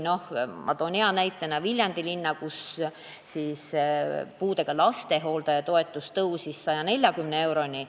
Ma toon hea näitena Viljandi linna, kus puudega lapse hooldaja toetus tõusis 140 euroni.